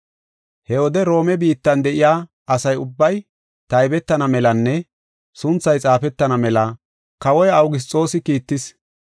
He wode Roome biittan de7iya asa ubbay taybetana melanne sunthay xaafetana mela kawoy Awugisxoosi kiittis.